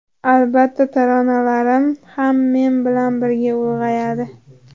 Albatta, taronalarim ham men bilan birga ulg‘ayadi.